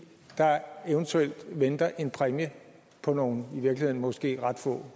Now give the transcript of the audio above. der eventuelt venter en præmie på nogle i virkeligheden måske ret få